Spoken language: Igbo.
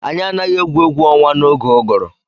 Anyị anaghị egwu egwu ọnwa n'oge ụgụrụ.